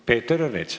Peeter Ernits.